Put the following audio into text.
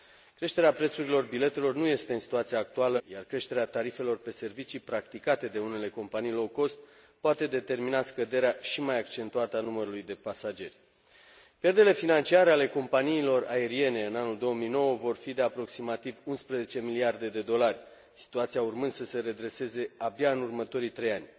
Creșterea prețurilor biletelor nu este, în situația actuală, o opțiune, iar creșterea tarifelor de servicii practicate de unele companii poate determina scăderea și mai accentuată a numărului de pasageri. Pierderile financiare ale companiilor aeriene în anul 2009 vor fi de aproximativ 11 miliarde de dolari, situația urmând să se redreseze abia în următorii 3 ani.